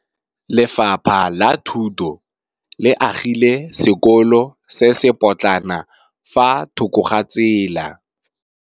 Lefapha la Thuto le agile sekôlô se se pôtlana fa thoko ga tsela.